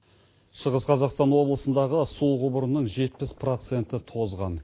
шығыс қазақстан облысындағы су құбырының жетпіс проценті тозған